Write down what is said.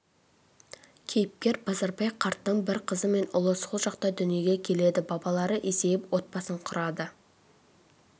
кейіпкер базарбай қарттың бір қызы мен ұлы сол жақта дүниеге келеді балалары есейіп отбасын құрады